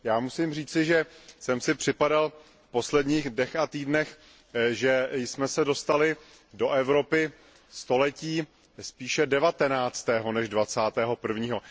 Musím říci, že jsem si v posledních dnech a týdnech připadal, že jsme se dostali do Evropy století spíše devatenáctého než dvacátého prvního.